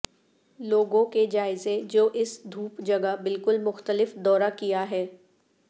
لوگوں کے جائزے جو اس دھوپ جگہ بالکل مختلف دورہ کیا ہے